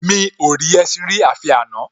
Mi ò rí ẹṣin rí àfi àná